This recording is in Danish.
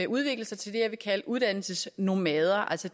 udvikler sig til det jeg vil kalde uddannelsesnomader altså